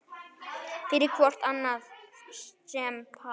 fyrir hvort annað sem par